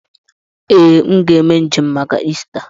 Ee, m ga eme njem maka Ista.